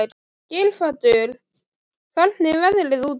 Geirhvatur, hvernig er veðrið úti?